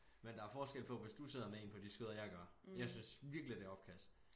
Men der er forskel på hvis du sidder med én på dit skød og jeg gør jeg synes virkelig det opkast